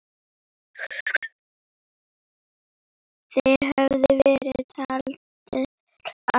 Þeir höfðu verið taldir af.